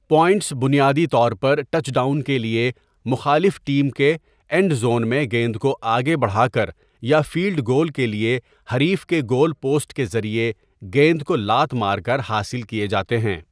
Points بنیادی طور پر ٹچ ڈاؤن کے لیے مخالف ٹیم کے اینڈ زون میں گیند کو آگے بڑھا کر یا فیلڈ گول کے لیے حریف کے گول پوسٹ کے ذریعے گیند کو لات مار کر حاصل کیے جاتے ہیں۔